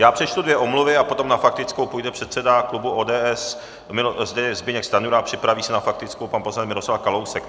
Já přečtu dvě omluvy a potom na faktickou půjde předseda klubu ODS Zbyněk Stanjura a připraví se na faktickou pan poslanec Miroslav Kalousek.